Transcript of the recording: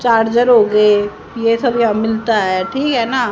charger हो गए ये सब ये मिलता है ठीक है ना--